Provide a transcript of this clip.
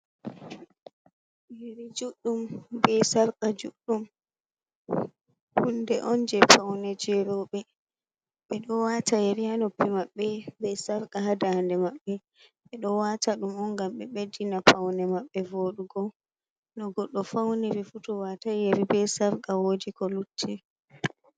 Yeri juɗɗum be sarqa juɗɗum hunde on je paune je roɓe ɓeɗo wata yeri ha noppi maɓɓe be sarqa ha da nde maɓbe, ɓeɗo wata ɗum on ngam ɓe ɓeddina paune maɓɓe vodugo no goɗɗo fauniri fu tow watai yeri be sarqa wodi ko lutti.